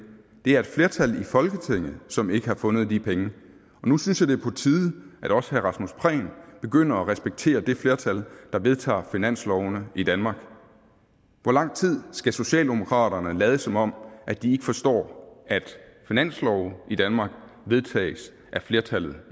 det er et flertal i folketinget som ikke har fundet de penge nu synes jeg det er på tide at også herre rasmus prehn begynder at respektere det flertal der vedtager finanslovene i danmark hvor lang tid skal socialdemokratiet lade som om de ikke forstår at finanslove i danmark vedtages af flertallet